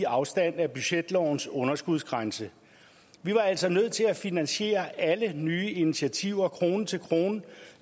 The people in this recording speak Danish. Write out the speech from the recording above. afstand af budgetlovens underskudsgrænse vi var altså nødt til at finansiere alle nye initiativer krone til krone